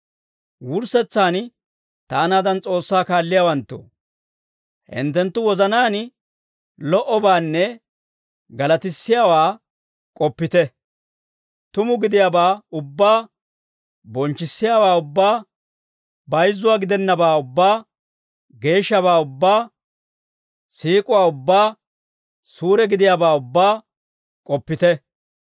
Wurssetsaan, taanaadan S'oossaa kaalliyaawanttoo, hinttenttu wozanaan lo"obaanne galatissiyaawaa k'oppite; tuma gidiyaabaa ubbaa, bonchchissiyaawaa ubbaa, bayizzuwaa gidennabaa ubbaa, geeshshabaa ubbaa, siik'uwaa ubbaa, suure gidiyaabaa ubbaa k'oppite.